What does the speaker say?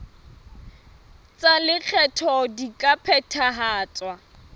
tsa lekgetho di ka phethahatswa